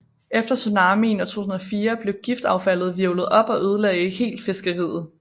Efter tsunamien i 2004 blev giftaffaldet hvirvlet op og ødelagde helt fiskeriet